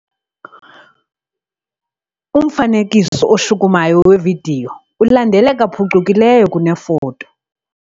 Umfanekiso oshukumayo wevidiyo ulandeleka phucukileyo kunefoto.